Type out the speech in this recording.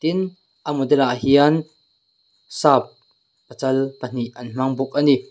tin a model ah hian sap pachal pahnih an hmang bawk ani.